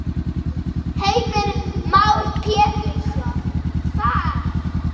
Heimir Már Pétursson: Hvar?